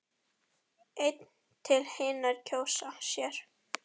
einn til hinir kjósa sér.